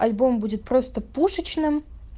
альбом будет просто пушечным